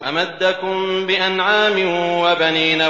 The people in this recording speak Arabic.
أَمَدَّكُم بِأَنْعَامٍ وَبَنِينَ